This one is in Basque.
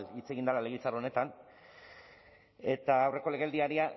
hitz egin dela legebiltzar honetan eta